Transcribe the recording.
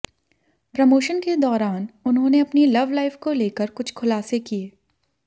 promotion के दौरान उन्होंने अपनी लव लाइफ को लेकर कुछ खुलासे किए